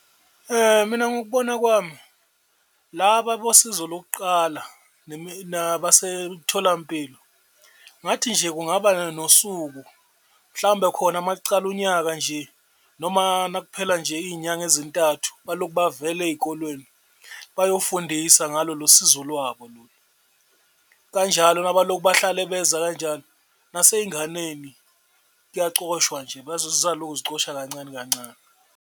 Mina ngokubona kwami, laba bosizo lokuqala nabasemtholampilo ngathi nje kungaba nosuku mhlawumbe khona makucala unyaka nje, noma nakuphela nje iyinyanga ezintathu balokhu bavela ey'kolweni bayofundisa ngalolo sizo lwabo. Kanjalo nabalokhu bahlale beza kanjalo naseyinganeni kuyacoshwa nje zizaloku zicosha kancane kancane.